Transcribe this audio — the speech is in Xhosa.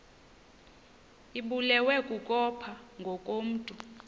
ibulewe kukopha ngokomntu